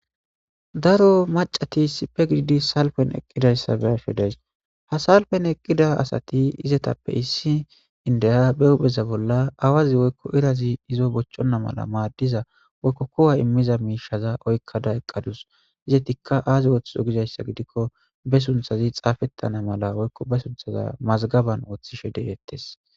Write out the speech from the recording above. Daro macati sipegidi salfen eqqidayssa gayfe daysko ha salfen eqqida asati izetappe issi indeya behubeza bolla awazi woykko erazi izo bochchonna mala maaddiza woykko kowa immiza miishaza oykkada eqqadus izetikka aazi woththizo gizayssa gidikko be sunthazi xaafettana mala woykko ba sunthaza mazgaban woththishe deyettes